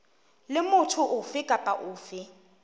le motho ofe kapa ofe